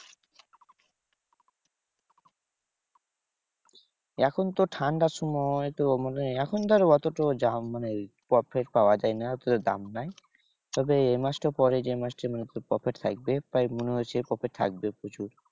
এখন তো ঠান্ডার সময় তো মানে এখন ধর অতটা দাম মানে profit পাওয়া যায় না, দাম নেই। তবে এ মাস টার পরে যে মাস টা মনে হচ্ছে profit পাইবে। তাই মনে হচ্ছে prifit থাকবে প্রচুর।